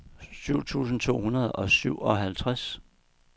syv tusind to hundrede og syvoghalvtreds